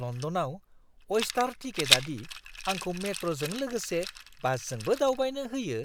लण्डनआव अइस्टार टिकेटआ दि आंखौ मेट्र'जों लोगोसे बासजोंबो दावबायनो होयो